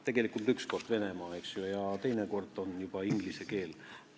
Tegelikult üks kord, Venemaa, ja teine kord on juba inglise keel.